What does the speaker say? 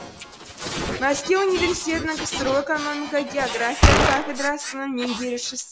мәскеу университетінің ксро экономика география кафедрасының меңгерушісі